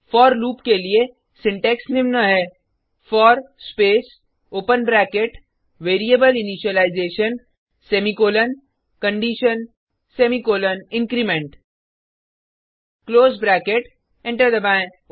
four loop के लिए syntax निम्न है for space open bracket variable initialization semicolon condition semicolon increment close bracket enter दबाएँ